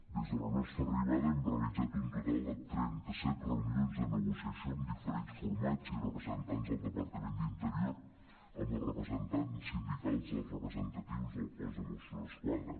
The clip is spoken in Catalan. des de la nostra arribada hem realitzat un total de trenta·set reunions de negociació amb dife·rents formats i representants del departament d’interior amb els representants sin·dicals dels representatius del cos de mossos d’esquadra